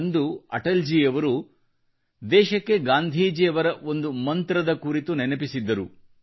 ಅಂದು ಅಟಲ್ ಜಿಯವರು ದೇಶಕ್ಕೆ ಗಾಂಧೀಜಿಯವರ ಒಂದು ಮಂತ್ರದ ಕುರಿತು ನೆನಪಿಸಿದ್ದರು